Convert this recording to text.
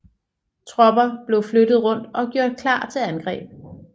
Tropper blev flyttet rundt og gjort klar til angreb